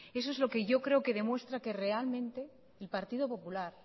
eso es lo que yo creo que demuestra que realmente el partido popular